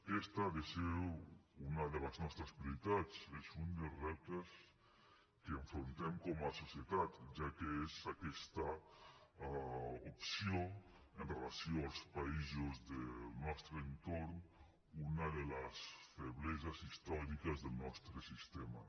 aquesta ha de ser una de les nostres prioritats és un dels reptes que afrontem com a societat ja que és aquesta opció amb relació als països del nostre entorn una de les febleses històriques del nostre sistema